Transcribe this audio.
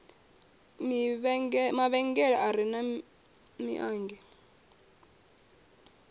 mavhengele a re na mimanngi